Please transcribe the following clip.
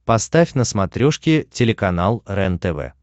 поставь на смотрешке телеканал рентв